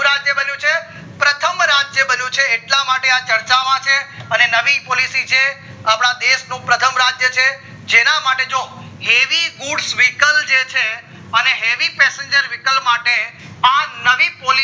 કેવો રાજ્ય બન્યો છે પ્રથમ રાજ્ય બન્યો છે એટલા માટે આ ચર્ચા માં છે અને નવી policy જે છે અપડા દશ નું પ્રથમ રાજ્ય છે જેના માટે જો heavy goods vehicle જે છે અને heavy passenger vehicle માટે અ નવી policy